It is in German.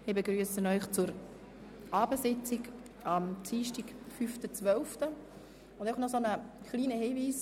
Ich begrüsse Sie zur Abendsitzung vom Dienstag, den 5. Dezember, und gebe einen kleinen Hinweis: